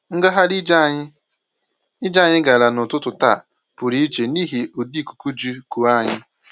Ngagharị ije anyị ije anyị gara n'ụtụtụ taa pụrụ iche n'ihi ụdị ikuku ji kuo anyị